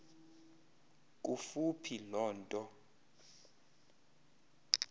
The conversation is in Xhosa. kufuphi loo nto